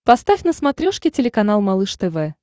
поставь на смотрешке телеканал малыш тв